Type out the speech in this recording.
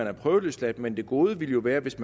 er prøveløsladt men det gode ville jo være hvis